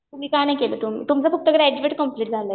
तुम्ही का नाही केलं? तुमचं फक्त ग्रॅज्युएट कम्प्लिट झालंय का?